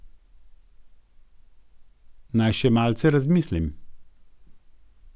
Naj še malce razmislim ...